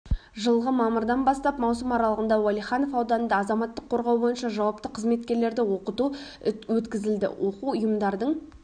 жылғы мамырдан бастап маусым аралығында уәлиханов ауданында азаматтық қорғау бойынша жауапты қызметкерлерді оқыту өткізілді оқу ұйымдардың